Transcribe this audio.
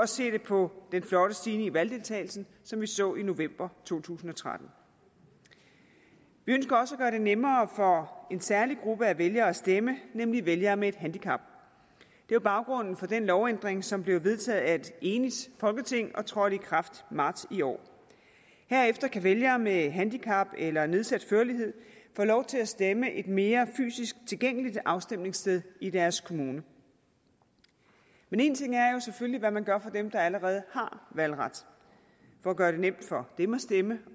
se det på den flotte stigning i valgdeltagelsen som vi så i november to tusind og tretten vi ønsker også at gøre det nemmere for en særlig gruppe af vælgere at stemme nemlig vælgere med et handicap det var baggrunden for den lovændring som blev vedtaget af et enigt folketing og trådte i kraft i marts i år herefter kan vælgere med handicap eller nedsat førlighed få lov til at stemme et mere fysisk tilgængeligt afstemningssted i deres kommune men en ting er selvfølgelig hvad man gør for dem der allerede har valgret for at gøre det nemt for dem at stemme